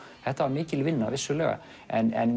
þetta var mikil vinna en